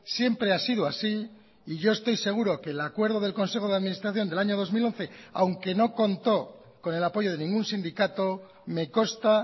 siempre ha sido así y yo estoy seguro que el acuerdo del consejo de administración del año dos mil once aunque no contó con el apoyo de ningún sindicato me consta